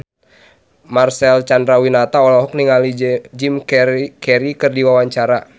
Marcel Chandrawinata olohok ningali Jim Carey keur diwawancara